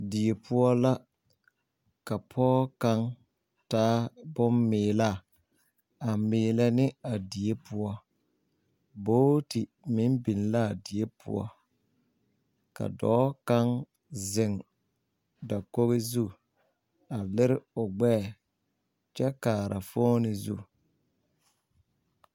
Die poɔ la ka pɔge kaŋ taa boŋ meelaa a meela ne a die poɔ buuti meŋ biŋ laa a die poɔ ka dɔɔ kaŋ zeŋ dakogi zu a lere o gbɛɛ kyɛ kaara fooni zu.